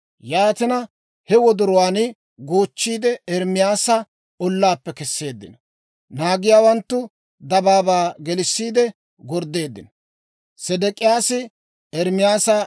Yaatina, he wodoruwaan goochchiide, Ermaasa ollaappe kesseeddino. Naagiyaawanttu dabaabaa gelissiide gorddeeddino.